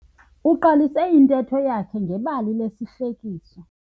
Uqalise intetho yakhe ngebali lesihlekiso.